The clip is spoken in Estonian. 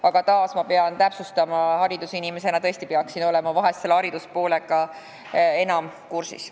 Aga jällegi, ma pean seda veel täpsustama, sest haridusinimesena peaksin tõesti olema selle poolega enam kursis.